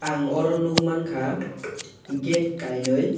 ang aro nwgmang kha gate kainwi.